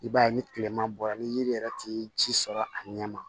I b'a ye ni tilema bɔra ni yiri yɛrɛ tɛ ji sɔrɔ a ɲɛ ma